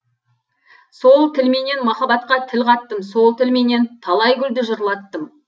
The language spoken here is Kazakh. сол тілменен махаббатқа тіл қаттым сол тілменен талай гүлді жырлаттым